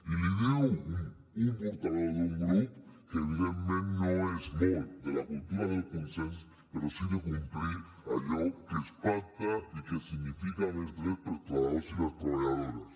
i li ho diu un portaveu d’un grup que evidentment no és molt de la cultura del consens però sí de complir allò que es pacta i que significa més drets per als treballadors i les treballadores